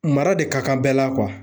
Mara de ka kan bɛɛ la